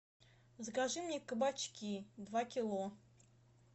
закажи мне кабачки два кило